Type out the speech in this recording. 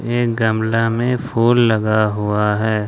एक गमला में फूल लगा हुआ है।